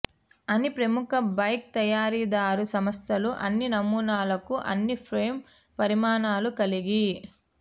అన్ని ప్రముఖ బైక్ తయారీదారు సంస్థలు అన్ని నమూనాలకు అన్ని ఫ్రేమ్ పరిమాణాలు కలిగి